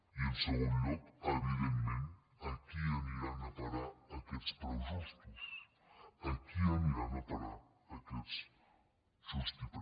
i en segon lloc evidentment a qui ani·ran a parar aquests preus justos a qui aniran a parar aquests preus justos